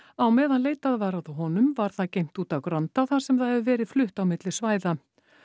á meðan leitað var að honum var það geymt úti á Granda þar sem það hefur verið flutt á milli svæða